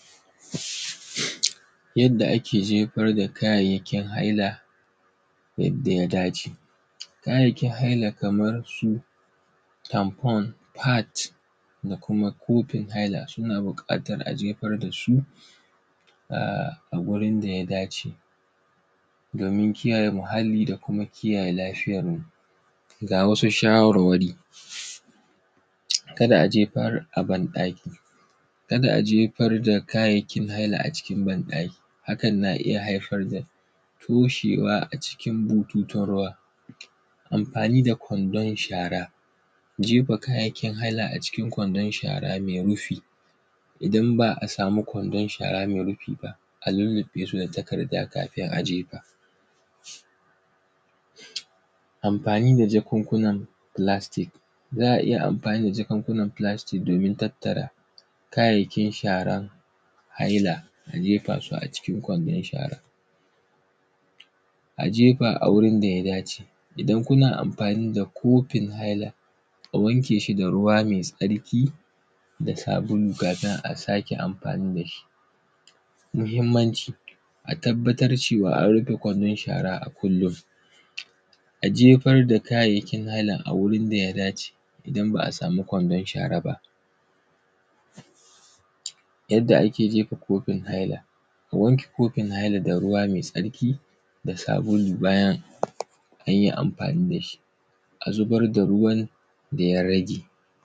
Yadda ake jefar da kayayyakin haila yadda ya dace. Kayayyakin haila kamar su “hand pon”, “pad” da kuma kofin haila, suna buƙatar a jefar da su a; a gurin da ya dace domin kiyaye muhalli da kuma kiyaye lafiyarmu. Ga wasu shawarwari, kada a jefar a banɗaki, kada a jefar da kayayyakin haila a cikin banɗaki, hakan na iya haifar toshewa a cikin bututun ruwa. Amfani da kwandon shara, jefa kayayyakin haila a cikin kwandon shara me rufi. Idan ba a samu kwandon shara me rufi ba, a lulluƃe su da takarda kafin a jefa. Amfani da jakunkunan “plastic”, za a iya amfani da jakunkunan plastic” domin tattara kayayyakin shara haila a jefa su a cikin kwandon shara. A jefa a wurin da ya dace, idan kuna amfani da kofin haila, wanke shi da ruwa me tsarki da sabulu ba za a sake amfani da shi ba. Muhimmanci, a tabbatar cewa an rufe kwandon shara a kullin, a jefar da kayayyakin haila a wurin da ya dace idan ba a sami kwandon shara ba. Yadda ake jefa kofin haila, wanke kofin hailada ruwa me tsarki da sabulu bayan an yi amfani da shi, a zubar da ruwan da ya rage.